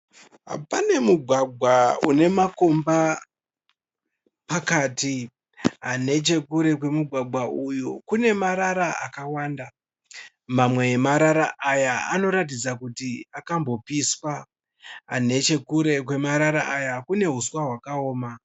Pane mugwagwa une makomba pakati. Nechekure kwemugwagwa uyu kune marara akawanda, mamwe emarara aya anoratidza kuti akambopiswa. Nechekure kwemarara aya kune huswa hwakaoma.